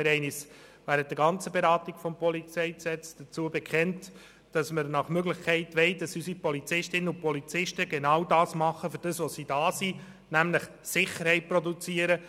Wir haben uns während der gesamten Beratung des PolG dazu bekannt, dass wir nach Möglichkeit wollen, dass unsere Polizistinnen und Polizisten das tun, wofür sie da sind, nämlich Sicherheit produzieren.